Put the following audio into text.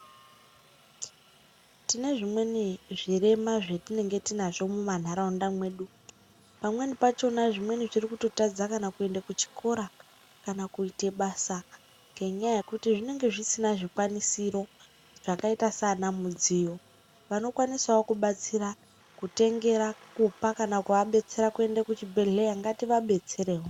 Tine zvimweni zvirema zvatinenge tinazvo mumandaraunda medu pamweni pachona zvimweni zviri kutotadza kuenda kuchikora kana kuita basa ngenyaya yekuti zvinenge zvisina zvikwanisiro zvakaita Sana mudziyo vanokwanisawo kubatsira kutengera kuona kana kuva detsera kuenda kuzvibhedhlera ngativadetsere.